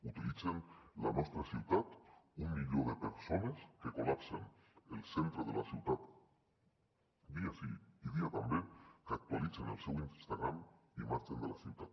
utilitzen la nostra ciutat un milió de persones que col·lapsen el centre de la ciutat dia sí dia també que actualitzen el seu instagram i marxen de la ciutat